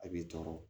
A b'i tɔɔrɔ